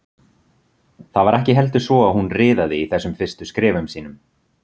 Það var ekki heldur svo að hún riðaði í þessum fyrstu skrefum sínum.